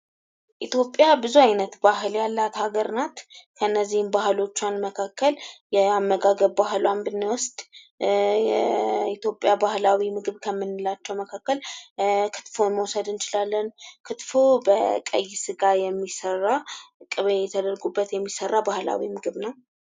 ኢትዮጵያ ብዙ አይነት ባህል ያላት አገር ናት። ከእነዚህም ባህሎቿ መካከል የአመጋገብ ባህሏን ብንወስድ የኢትዮጵያ ባህላዊ ምግብ ከምንላቸዉ መካከል ክትፎ መዉሰድ እንችላለን። ክትፎ ከቀይ ስጋ በቅቤ የሚሰራ ባህላዊ ምግብ ነዉ።